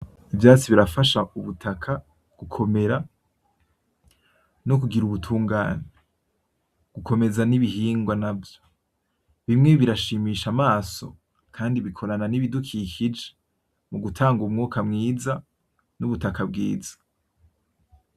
Ivyatsi birafasha ubutaka gukomera no kugira ubutungane. Gukomeza n'ibihingwa navyo, bimwe birashimisha amaso kandi bikorana n'ibidukikije, mu gutanga umwuka mwiza n'ubutaka bwiza.